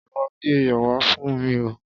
Lọ gbé iyọ̀ wá fún mi o.